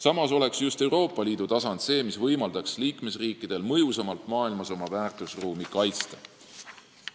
Samas võimaldaks just Euroopa Liidu tasand liikmesriikidel maailmas mõjusamalt oma väärtusruumi kaitsta.